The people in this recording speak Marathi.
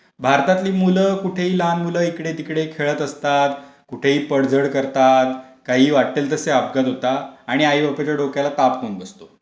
भारतातली मुलं लहान मुलं कुठेही इकडे तिकडे खेळत असतात, कुठेही पडझड करतात, काही वाटेल तसे अपघात होतात, आणि आईबापाच्या डोक्याला ताप होऊन बसतो.